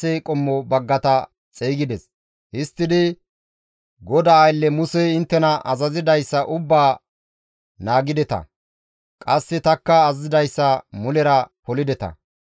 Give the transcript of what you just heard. Histtidi, «GODAA aylle Musey inttena azazidayssa ubbaa naagideta; qasse tanikka azazidayssa mulera polideta.